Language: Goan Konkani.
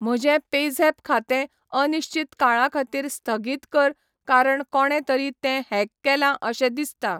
म्हजें पेझॅप खातें अनिश्चित काळा खातीर स्थगीत कर कारण कोणे तरी तें हॅक केलां अशें दिसता.